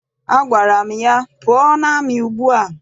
Agwara m ya, pụọ n'amị ugbua!